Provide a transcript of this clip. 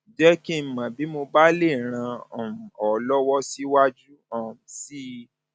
jẹ kí n mọ bí mo bá lè ràn um ọ lọwọ síwájú um sí i